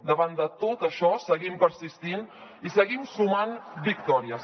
davant de tot això seguim persistint i seguim sumant victòries